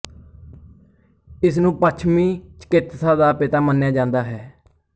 ਇਸਨੂੰ ਪੱਛਮੀ ਚਿਕਿਤਸਾ ਦਾ ਪਿਤਾ ਮੰਨਿਆ ਜਾਂਦਾ ਹੈ